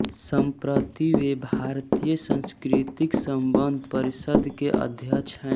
सम्प्रति वे भारतीय सांस्कृतिक संबंध परिषद के अध्यक्ष हैं